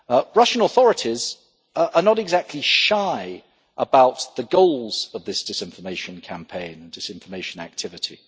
Russian authorities are not exactly shy about the goals of this disinformation campaign and disinformation activity.